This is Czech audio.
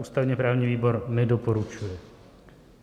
Ústavně-právní výbor nedoporučuje.